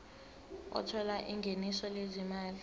othola ingeniso lezimali